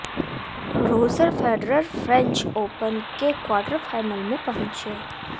Roger Federer French Open के quarter final में पहुंचे